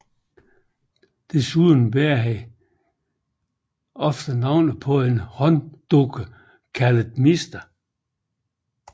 Desuden bærer han ofte på en hånddukke kaldet Mr